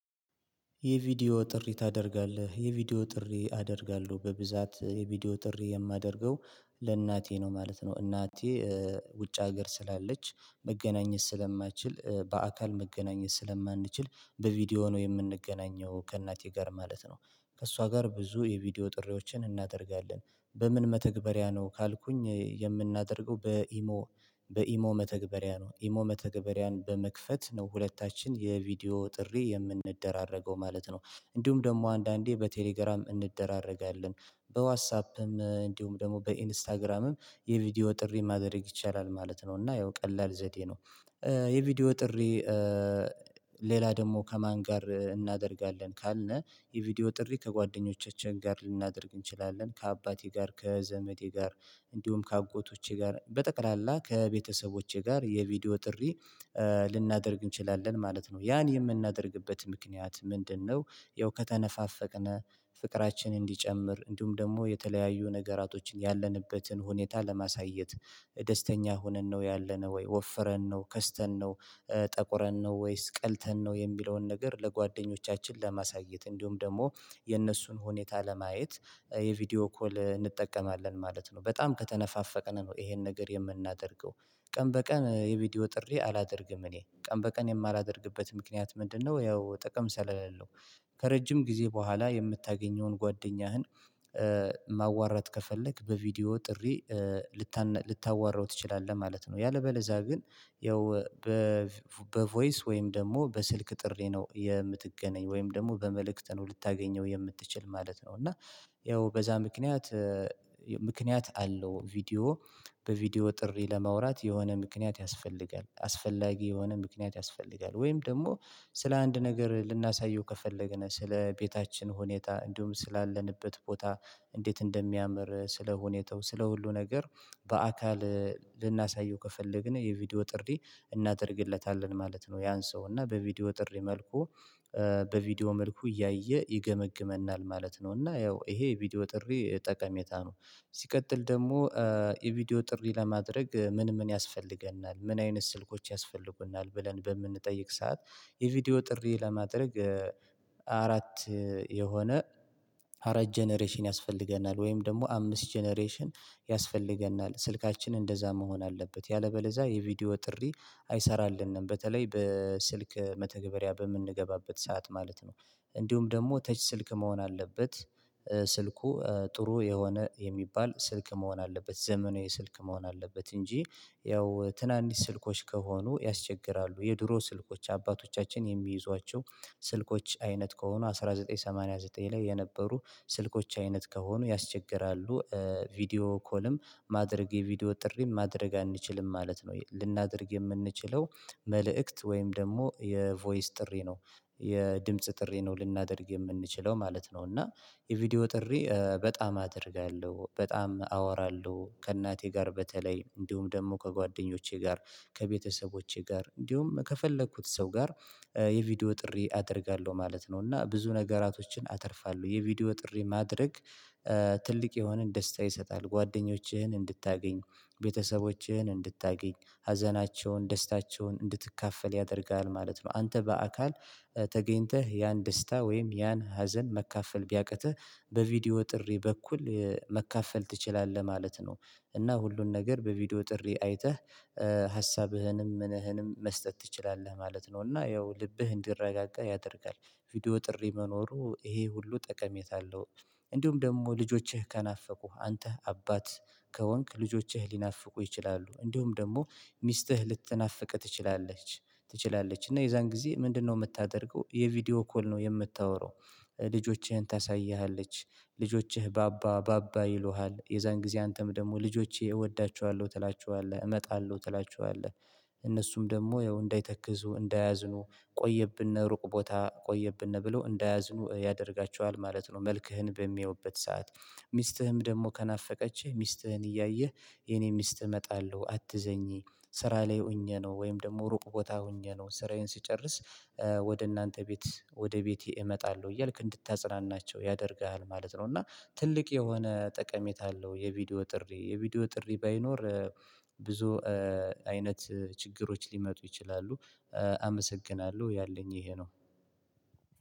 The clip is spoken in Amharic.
የቪዲዮ ጥሪ ታደርጋለህ የቪዲዮ ጥሪ አደርጋለሁ በብዛት የቪዲዮ ጥሪ የማደርገው ለእናቴ ነው ማለት ነው። እናቴ ውጭ ሀገር ስላለች መገናኘት ስለማንችል በአካል መገናኘት ስለማንችል በቪዲዮ ነው የምንገናኘው ከእናቴ ጋር ማለት ነው። ከእሷ ጋር ብዙ የቪዲዮ ጥሪዎችን እናደርጋለን። በምን መተግበሪያ ነው ካልኩኝ የምናደርገው በኢሞ። በኢሞ መተግበሪያ ነው ኢሞ መተግበሪያን በመክፈት ነው ሁለታችን የቪዲዮ ጥሪ የምንደራረገው ማለት ነው። እንዲሁም ደግሞ አንዳንዴ በቴሌግራም እንደራረጋለን። በዋስአፕም እንዲሁም ደግሞ በኢንስታግራምም የቪዲዮ ጥሪ ማድረግ ይቻላል ማለት ነው። እና ያው ቀላል ዘዴ ነው። የቪዲዮ ጥሪ። ሌላ ደግሞ ከማን ጋር እናደርጋለን ካልነ? የቪዲዮ ጥሪ ከጓደኞቻችን ጋር ልናደርግ እንችላለን ከአባቴ ጋር ከዘመቴ ጋር እንዲሁም ከአጎቶቼ ጋር በጠቅላላ ከቤተሰቦቼ ጋር የቪዲዮ ጥሪ ልናደርግ እንችላለን ማለት ነው ያን የምናደርግበት ምክንያት ምንድነው? ያው ከተነፋፈቅን ፍቅራችን እንዲጨምር እንዲሁም ደግሞ የተለያዩ ነገራቶችን ያለንበትን ሁኔታ ለማሳየት ደስተኛ ሆነን ነው ያለነው ወይ ወፍረን ነው ከስተን ነው? ጠቁረን ነው ወይስ ቀልተን ነው የሚለውን ነገር ለጓደኞቻችን ለማሳየት እንዲሁም ደግሞ የእነሱን ሁኔታ ለማየት የቪዲዮ ኮል እንጠቀማለን ማለት ነው። በጣም ከተነፋፈቀን ነው ይሄን ነገር የምናደርገው። ቀን በቀን የቪዲዮ ጥሪ አላደርግም እኔ ቀን በቀን የማላደርግበት ምክንያት ምንድነው? ያው ጠቀም ስለለው ነው። ከረጅም ጊዜ በኋላ የምታገኘውን ጓደኛህን ማዋራት ከፈለክ በቪዲዮ ጥሪ ልታዋራው ትችላለህ። ማለት ነው። ያለበለዛ ግን። ያው በቮይስ ወይም ደግሞ በስልክ ጥሪ ነው የምትገናኝ ወይም ደግሞ በመልእክት ነው ልታገኘው የምትችል ማለት ነው። እና ያው በዛ ምክንያት ምክንያት አለው። ቪዲዮ በቪዲዮ ጥሪ ለማውራት የሆነ ምክንያት ያስፈልጋል አስፈላጊ የሆነ ምክንያት ያስፈልጋል። ወይም ደግሞ ስለ አንድ ነገር ልናሳየው ከፈለገን ስለ ቤታችን ሁኔታ እንዲሁም ስላለንበት ቦታ እንዴት እንደሚያምር ስለ ሁኔታው ስለ ሁሉ ነገር በአካል ልናሳየው ከፈለግን የቪዲዮ ጥሪ እናደርግለታለን ማለት ነው። ያን ሰው እና በቪዲዮ ጥሪ መልኩ በቪዲዮ መልኩ እያየ ይገመግመናል ማለት ነው። እና ያው ይሄ ቪዲዮ ጥሪ ጠቀሜታ ነው። ሲቀጥል ደግሞ የቪዲዮ ጥሪ ለማድረግ ምን ምን ያስፈልገናል ምን አይነት ስልኮች ያስፈልጉናል ብለን በምንጠይቅ ሰዓት? የቪዲዮ ጥሪ ለማድረግ። አራት የሆነ አራት ጀነሬሽን ያስፈልገናል ወይም ደግሞ አምስት ጀነሬሽን ያስፈልገናል ስልካችን እንደዛ መሆን አለበት። ያለበለዛ የቪዲዮ ጥሪ አይሰራልንም በተለይ በስልክ መተግበሪያ በምንገባበት ሰዓት ማለት ነው። እንዲሁም ደግሞ ተች ስልክ መሆን አለበት። ስልኩ ጥሩ የሆነ የሚባል ስልክ መሆን አለበት ዘመናዊ ስልክ መሆን አለበት። እንጂ ያው ትናንሽ ስልኮች ከሆኑ ያስቸግራሉ የድሮ ስልኮች አባቶቻችን የሚይዟቸው ስልኮች አይነት ከሆኑ አንድ ሺህ ዘጠኝ መቶ ሰማኒያ ዘጠኝ ላይ የነበሩ ስልኮች አይነት ከሆኑ ያስቸግራሉ። ቪዲዮ ኮልም ማድረግ የቪዲዮ ጥሪም ማድረግ አንችልም ማለት ነው። ልናደርግ የምንችለው መልእክት ወይም ደግሞ የቮይስ ጥሪ ነው። የድምጽ ጥሪ ነው ልናደርግ የምንችለው ማለት ነው። እና የቪዲዮ ጥሪ በጣም አደርጋለሁ በጣም አወራለሁ ከእናቴ ጋር በተለይ እንዲሁም ደግሞ ከጓደኞቼ ጋር ከቤተሰቦቼ ጋር እንዲሁም ከፈለኩት ሰው ጋር የቪዲዮ ጥሪ አደርጋለሁ ማለት ነው። እና ብዙ ነገራቶችን አተርፋለሁ የቪዲዮ ጥሪ ማድረግ። ትልቅ የሆነን ደስታ ይሰጣል ጓደኞችህን እንድታገኙ ቤተሰቦችህን እንድታገኝ ሀዘናቸውን ደስታቸውን እንድትካፈል ያደርጋል ማለት ነው። አንተ በአካል ተገኝተህ ያን ደስታ ወይም ያን ሀዘን መካፈል ቢያቅትህ በቪዲዮ ጥሪ በኩል መካፈል ትችላለህ ማለት ነው። እና ሁሉን ነገር በቪዲዮ ጥሪ አይተህ ሀሳብህንም ምንህንም መስጠት ትችላለህ ማለት ነው። እና ያው ልብህን እንዲረጋጋ ያደርጋል። ቪዲዮ ጥሪ መኖሩ ይሄ ሁሉ ጠቀሜታ አለው። እንዲሁም ደግሞ ልጆችህ ከናፈቁህ አንተ አባት ከወንክ ልጆችህ ሊናፍቁ ይችላሉ እንዲሁም ደግሞ ሚስትህ ልትናፍቅ ትችላለች። ትችላለች እና የዛን ጊዜ ምንድነው የምታደርገው? የቪዲዮ ኮል ነው የምታወራው። ልጆችህን ታሳይሃለች። ልጆችህ ባባ ባባ ይሉሃል የዛን ጊዜ አንተም ደግሞ ልጆቼ እወዳቸዋለሁ ትላቸዋለህ እመጣለሁ ትላቸዋለህ እነሱም ደግሞ ያው እንዳይተክዙ እንዳያዝኑ ቆየብን ሩቅ ቦታ ቆየብን ብሎ እንዳያዝኑ ያደርጋቸዋል ማለት ነው። መልክህን በሚያዩበት ሰዓት። ሚስትህም ደግሞ ከናፈቀችህ ሚስትህን እያየህ የኔ ሚስት እመጣለሁ አትዘኚ። ስራ ላይ ሆኜ ነው ወይም ደግሞ ሩቅ ቦታ ሆኜ ነው ስራዬን ስጨርስ። ወደ እናንተ ቤት ወደ ቤቴ እመጣለሁ እያልክ እንድታጽናናቸው ያደርግሃል ማለት ነው። እና ትልቅ የሆነ ጠቀሜታ አለው። የቪዲዮ ጥሪ የቪዲዮ ጥሪ ባይኖር ብዙ አይነት ችግሮች ሊመጡ ይችላሉ። አመሰግናለሁ ያለኝ ይሄ ነው።